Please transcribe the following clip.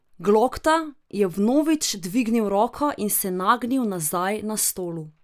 Glokta je vnovič dvignil roko in se nagnil nazaj na stolu.